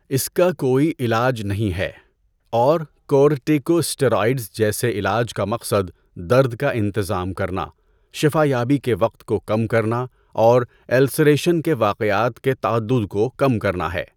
اس کا کوئی علاج نہیں ہے، اور کورٹیکوسٹیرائڈز جیسے علاج کا مقصد درد کا انتظام کرنا، شفا یابی کے وقت کو کم کرنا اور السریشن کے واقعات کے تعدد کو کم کرنا ہے۔